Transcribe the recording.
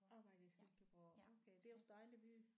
Arbejder i Silkeborg okay det er også dejlig by